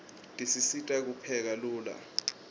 tisisita kupheka lula